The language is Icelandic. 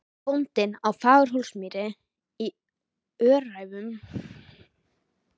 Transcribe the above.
Bóndinn á Fagurhólsmýri í Öræfum í